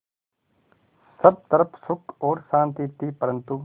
सब तरफ़ सुख और शांति थी परन्तु